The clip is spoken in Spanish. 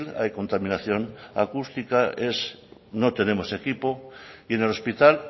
hay contaminación acústica no tenemos equipo y en el hospital